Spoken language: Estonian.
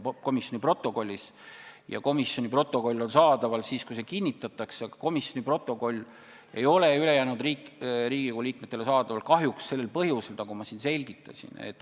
Komisjoni protokoll saab kättesaadavaks siis, kui see kinnitatakse, ja see protokoll ei ole ülejäänud Riigikogu liikmetele kättesaadav kahjuks sel põhjusel, nagu ma siin selgitasin.